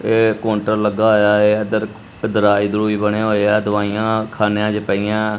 ਇਹ ਕਾਉੰਟਰ ਲੱਗਾ ਹੋਇਆ ਹੈ ਇੱਧਰ ਦਰਾਜ ਦਰੂਜ ਬਣਿਆ ਹੋਇਆ ਦਵਾਈਆਂ ਖਾਨਿਆਂ ਚ ਪਈਆਂ।